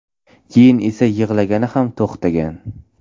Keyin esa yig‘lagani ham to‘xtagan.